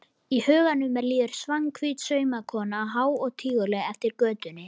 Í huganum líður Svanhvít saumakona há og tíguleg eftir götunni.